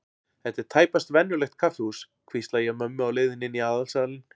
Þetta er tæpast venjulegt kaffihús, hvísla ég að mömmu á leiðinni inn í aðalsalinn.